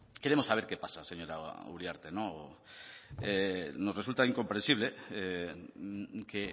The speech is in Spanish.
queremos saber qué pasa señora uriarte nos resulta incomprensible que